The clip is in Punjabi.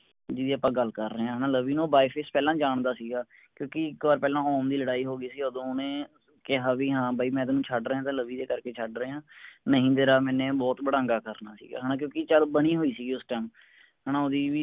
ਜਿਹਦੀ ਆਪਾਂ ਗੱਲ ਕਰ ਰਹੇ ਹਾਂ ਨਾ ਲਵੀ ਨਾ ਉਹ by face ਪਹਿਲਾ ਜਾਂਦਾ ਸੀਗਾ ਕਿਉਂਕਿ ਇਕ ਵਾਰ ਪਹਿਲਾਂ ਓਮ ਦੀ ਲੜਾਈ ਹੋਗੀ ਸੀ ਓਦੋ ਓਹਨੇ ਕਿਹਾ ਵੀ ਹਾਂ ਬਾਈ ਮੈਂ ਤੈਨੂੰ ਛਡਰਿਆ ਤਾਂ ਲਵੀ ਦੇ ਕਰਕੇ ਛਡਰਿਆ ਨਹੀਂ ਤੇਰਾ ਮੈਨੇ ਬਹੁਤ ਬੜਾਂਗਾ ਕਰਨਾ ਸੀਗਾ ਹੈਨਾ ਕਿਉਂਕਿ ਚੱਲ ਬਨੀ ਹੋਈ ਸਿਗੀ ਓਸ time ਹੈਨਾ ਓਹਦੀ ਵੀ